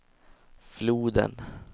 floden